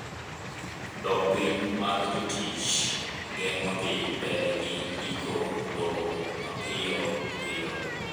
dok piny mar jotich geng'o dhi mbele gi ndiko lowo mapiyo piyo